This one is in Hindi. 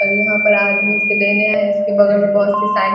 और यहाँ पर आदमी इसे लेने आए है इसके बगल में बहुत सी साई --